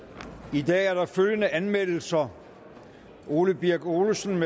i dag er der følgende anmeldelser ole birk olesen